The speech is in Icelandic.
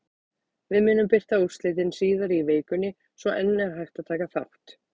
Við munum birta úrslitin síðar í vikunni svo enn er hægt að taka þátt!